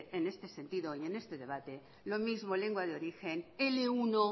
es en este sentido y en este debate lo mismo lengua de origen ele uno